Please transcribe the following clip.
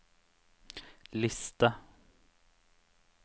liste